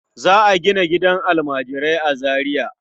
Za a gina gidan almajirai a Zariya.